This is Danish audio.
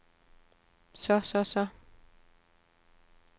så så så